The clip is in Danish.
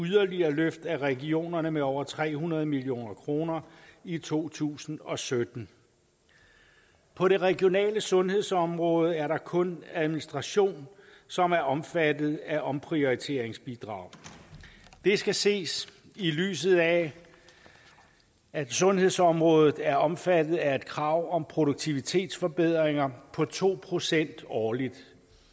yderligere løft af regionerne med over til tre hundrede million kroner i to tusind og sytten på det regionale sundhedsområde er det kun administration som er omfattet af omprioriteringsbidraget det skal ses i lyset af at sundhedsområdet er omfattet af et krav om produktivitetsforbedringer på to procent årligt